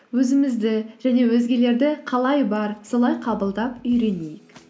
өзімізді және өзгелерді қалай бар солай қабылдап үйренейік